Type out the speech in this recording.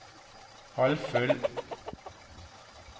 halvfull